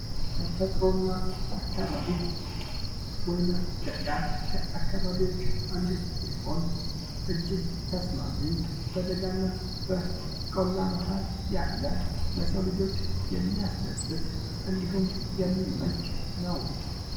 ተፈጥሮ እና አካባቢ ፦ወይና ደጋ ከአካባቢዎች አንዱ ሲሆን አጅግ ተስማሚ በደጋ እና በቆላ መሀል ያለ ለሰው ልጆች የሚያስደስት እንድሁም የሚመች ነው።